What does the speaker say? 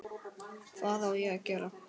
Hvað á ég að gera?